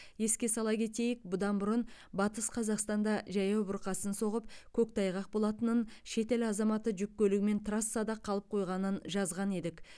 еске сала кетейік бұдан бұрын батыс қазақстанда жаяу бұрқасын соғып көктайғақ болатынын шетел азаматы жүк көлігімен трассада қалып қойғанын жазған едік